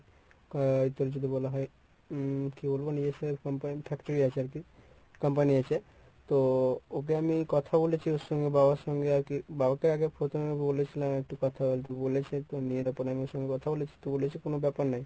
আহ তোর যদি বলা হয় উম কী বলবো নিজস্ব company এর factory আছে আরকি company আছে। তো ওকে আমি কথা বলেছি ওর সঙ্গে বাবার সঙ্গে আরকি। বাবাকে আগে প্রথমে বলেছিলাম একটু কথা বলতে। বলেছে আমি ওর সঙ্গে কথা বলেছি তো বলেছে কোনো ব্যপার নয়।